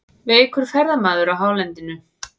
Veikur ferðamaður á hálendinu